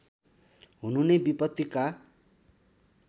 हुनु नै विपत्तिका